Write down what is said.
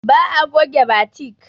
Ba'a goge batik.